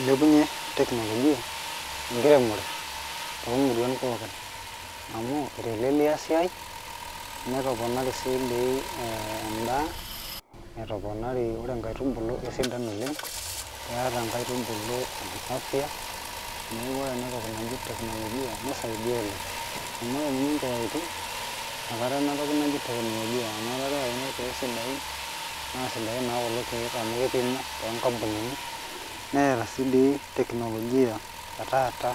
Ilepunye technologia enkiremore tomuruan poookin amu etelelia esiai netoponari si di endaa etomori, ore nkaitubulu kaisidan oleng, keeta nkaitubulu afya neaku ore enatoki naji technologia nisaidia oleng amu nye nkeyaitin nakata enatoki naji technologia amu keyau irkiek sidain amu keyau irkiek amu kipimuo tonkampunini neeta si dii technologia etaata